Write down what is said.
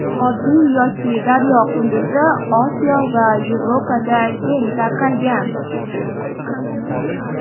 Oddiy yoki daryo qunduzi Osiyo va Yevropada keng tarqalgan.